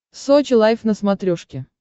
сочи лайв на смотрешке